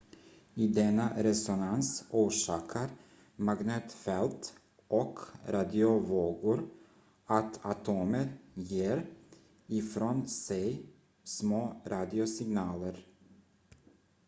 i denna resonans orsakar magnetfält och radiovågor att atomer ger ifrån sig små radiosignaler